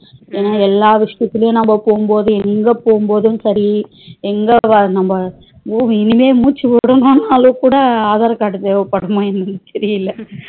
எல்லா விசயத்துளையும் நம்ம போகும்போது எங்க போகும்போதும் சரி எங்க நம்ம movie இனிமே மூச்சுவிடனும்னாலும்கூட aadhar card தேவைப்படுமா என்னன்னு தெரியல